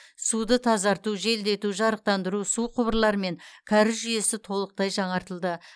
суды тазарту желдету жарықтандыру су құбырлары мен кәріз жүйесі толықтай жаңартылды